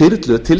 þyrlur til